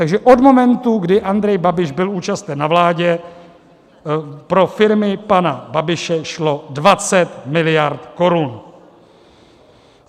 Takže od momentu, kdy Andrej Babiš byl účasten na vládě, pro firmy pana Babiše šlo 20 miliard korun.